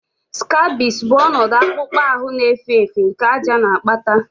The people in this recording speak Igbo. Scabies bụ ọnọdụ akpụkpọ ahụ na-efe efe nke àjà na-akpata